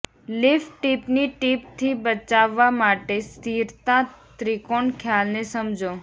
lift ટીપની ટીપથી બચાવવા માટે સ્થિરતા ત્રિકોણ ખ્યાલને સમજો